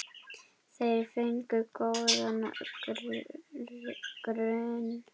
Þeir fengu góðan grunn.